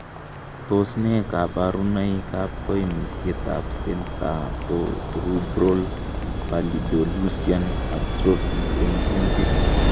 Tos nee koborunoikab koimutyetab Dentatorubral pallidoluysian atrophy en kuntit?